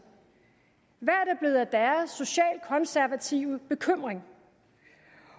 hvad er socialkonservative bekymring